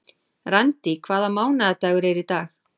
Randý, hvaða mánaðardagur er í dag?